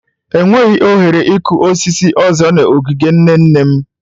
Enweghị ohere ịkụ osisi ọzọ n'ogige nne nne m.